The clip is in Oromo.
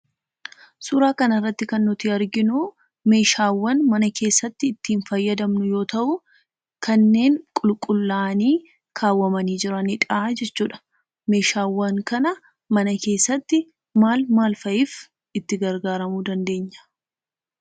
Suuraa kanarratti kan nuti arginuu meeshaawwan mana keessatti ittiin fayyadamnu yoo ta'u kanneen qulqullaa'anii kaawwamanii jiranidhaa jechuudha. Meeshaawwan kana mana keessatti maal maal fa'iif itti gargaaramuu dandeenya?